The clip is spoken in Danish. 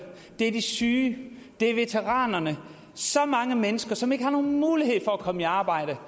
det er de syge det er veteranerne det så mange mennesker som ikke har nogen mulighed for at komme i arbejde